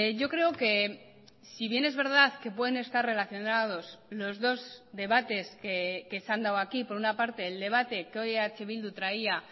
yo creo que si bien es verdad que pueden estar relacionados los dos debates que se han dado aquí por una parte el debate que hoy eh bildu traía